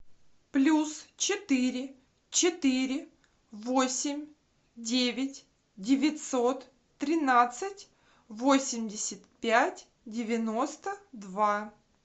плюс четыре четыре восемь девять девятьсот тринадцать восемьдесят пять девяносто два